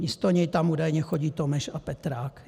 Místo něj tam údajně chodí Tomeš a Petrák.